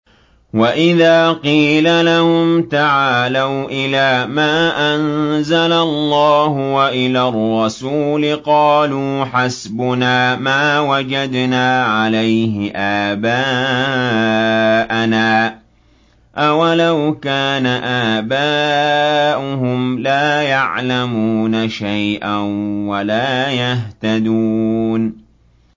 وَإِذَا قِيلَ لَهُمْ تَعَالَوْا إِلَىٰ مَا أَنزَلَ اللَّهُ وَإِلَى الرَّسُولِ قَالُوا حَسْبُنَا مَا وَجَدْنَا عَلَيْهِ آبَاءَنَا ۚ أَوَلَوْ كَانَ آبَاؤُهُمْ لَا يَعْلَمُونَ شَيْئًا وَلَا يَهْتَدُونَ